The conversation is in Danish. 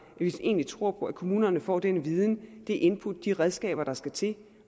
vi egentlig tror på at kommunerne får den viden det input de redskaber der skal til